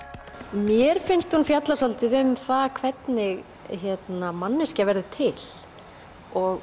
mér finnst hún fjalla svolítið um það hvernig manneskja verður til og